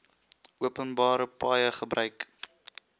openbare paaie gebruik